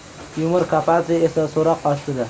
Timur Kapadze esa so‘roq ostida.